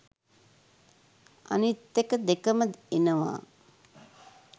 අනිත් එක දෙකම එනවා